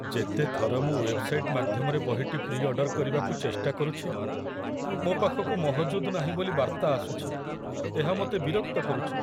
ଯେତେଥର ମୁଁ ୱେବ୍ସାଇଟ ମାଧ୍ୟମରେ ବହିଟି ପ୍ରି ଅର୍ଡର କରିବାକୁ ଚେଷ୍ଟା କରୁଛି, ମୋ ପାଖକୁ 'ମହଜୁଦ ନାହିଁ' ବୋଲି ବାର୍ତ୍ତା ଆସୁଛି, ଏହା ମୋତେ ବିରକ୍ତ କରୁଛି।